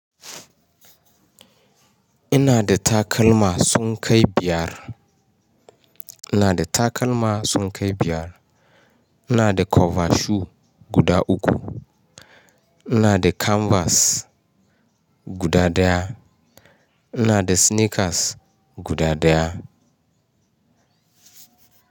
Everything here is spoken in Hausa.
Ina da takalma sun kai biyar. Ina da takalma sun kai biyar. Ina da cover shoe guda uku. Ina da canvas guda ɗaya. Ina da sneakers guda ɗaya.